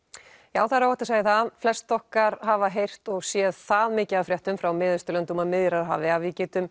já það er óhætt að segja það flest okkar hafa heyrt og séð það mikið af fréttum frá Mið Austurlöndum og Miðjarðarhafi að við getum